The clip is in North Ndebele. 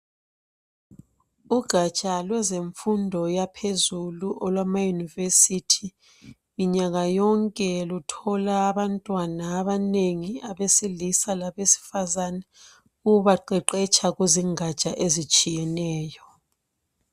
Ugaja lwezemfundo yaphezulu olwama university minyaka yonke luthola abantwana abanengi abesilisa labesifazane ukubaqeqetsha kuzingaja ezitshiyeneyo.